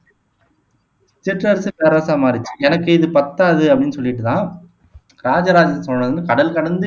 சிற்றரசு பேரரசா மாறுச்சு எனக்கு இது பத்தாது அப்படின்னு சொல்லிட்டு தான் ராஜராஜ சோழன் வந்து கடல் கடந்து